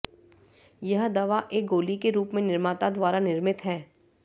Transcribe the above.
यह दवा एक गोली के रूप में निर्माता द्वारा निर्मित है